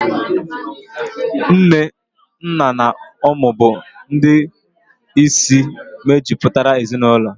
Nne, nna na ụmụ bụ ndị isi mejupụtara ezinaụlọ.